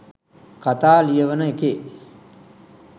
කතා ලියවන එකේ